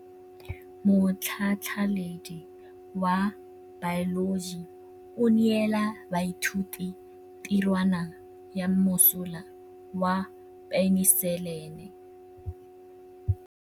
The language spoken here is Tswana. Motlhatlhaledi wa baeloji o neela baithuti tirwana ya mosola wa peniselene.